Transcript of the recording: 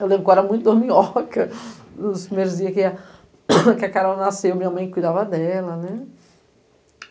Eu lembro que eu era muito dorminhoca, nos primeiros dias que a Carol nasceu, minha mãe cuidava dela, né?